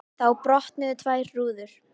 Þá brotnuðu tvær rúður.